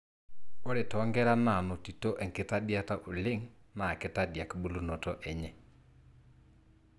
ore tonkera nanotioto enkitadiata oleng na kitadiak bulunoto enye.